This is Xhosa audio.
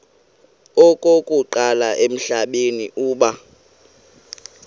okokuqala emhlabeni uba